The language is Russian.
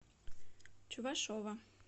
чувашова